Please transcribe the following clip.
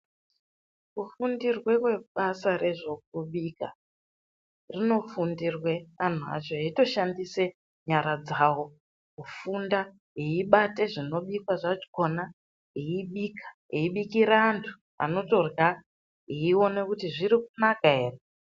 Kufundirwe kwebasa rezvekubika, zvinofundirwe antu acho echitoshandisa nyara dzawo kufunda veibata zvinobikwa zvakona veibikira antu anotorya veiona kuti zviri kunaka ere.